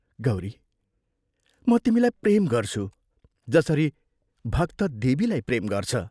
गौरी म तिमीलाई प्रेम गर्छु जसरी भक्त देवीलाई प्रेम गर्छ।